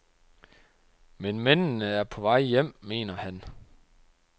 Men mændene er på vej hjem, mener han.